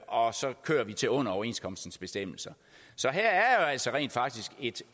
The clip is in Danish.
og så kører de til under overenskomstens bestemmelser så her er jo altså rent faktisk et